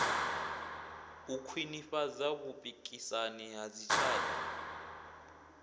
u khwinifhadza vhupikisani ha dzitshaka